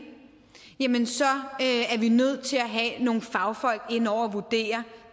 jamen så er vi nødt til at have nogle fagfolk ind over vurdere